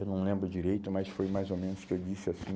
Eu não lembro direito, mas foi mais ou menos o que eu disse assim,